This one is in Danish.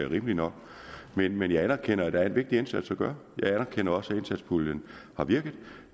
rimeligt nok men men jeg anerkender at der er en vigtig indsats at gøre jeg anerkender også at indsatspuljen har virket